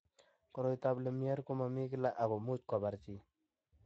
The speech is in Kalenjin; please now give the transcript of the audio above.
Koroitoab Lemierre ko mmomii kila ako much kobar chi.